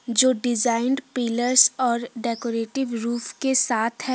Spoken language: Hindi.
जो डिजाइन पिलर्स और डेकोरेटिव रूफ के साथ है।